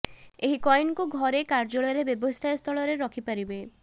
ଏହି କଏନକୁ ଘରେ କାର୍ଯ୍ୟାଳୟରେ ବ୍ୟବସାୟ ସ୍ଥଳରେ ରଖିବା ପାରିବା